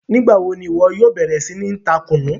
Nígba wo ni iwọ yóò bẹ̀rẹ̀ sí ni tá Kunú?